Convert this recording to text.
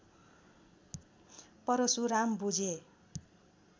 परशुराम बुझे